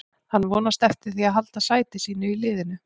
Hann vonast eftir því að halda sæti sínu í liðinu.